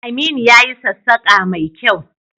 Aminu ya yi sassaƙa mai kyau